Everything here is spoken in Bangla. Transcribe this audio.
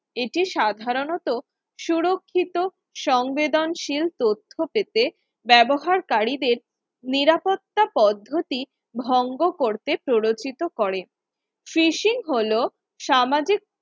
এটি সাধারণত সুরক্ষিত সমবেদনশীল তথ্য পেতে ব্যবহার করি দের নিরাপত্তা পদ্ধতি ভঙ্গ করতে প্ররোচিত করে Fishing হলো সামাজিক